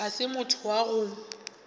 ga se motho wa go